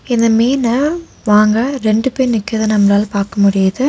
இந்த மீன வாங்க ரெண்டு பேர் நிக்கிறத நம்மளால பார்க்க முடியுது.